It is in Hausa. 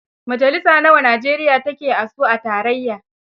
Majalisa nawa Najeriya take a su a tarayya?